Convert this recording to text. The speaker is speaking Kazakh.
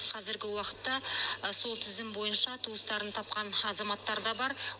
қазіргі уақытта сол тізім бойынша туыстарын тапқан азаматтар да бар